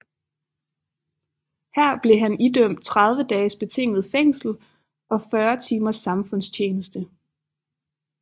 Her blev han idømt 30 dages betinget fængsel og 40 timers samfundstjeneste